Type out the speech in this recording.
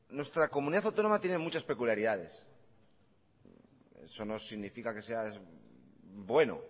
nuestra comunidad autónoma tiene muchas peculiaridades eso no significa que sea bueno